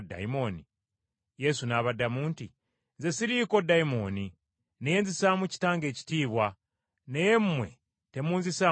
Yesu n’abaddamu nti, “Nze siriiko dayimooni, naye nzisaamu Kitange ekitiibwa naye mmwe temunzisaamu kitiibwa.